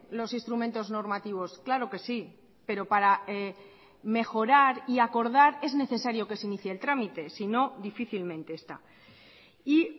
los instrumentos normativos claro que sí pero para mejorar y acordar es necesario que se inicie el trámite sino difícilmente esta y